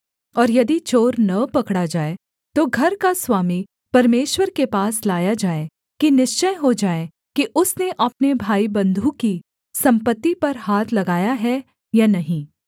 और यदि चोर न पकड़ा जाए तो घर का स्वामी परमेश्वर के पास लाया जाए कि निश्चय हो जाए कि उसने अपने भाईबन्धु की सम्पत्ति पर हाथ लगाया है या नहीं